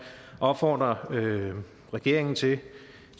opfordre regeringen til